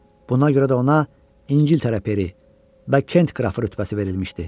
Buna görə də ona İngiltərə peri və Kent qraf rütbəsi verilmişdi.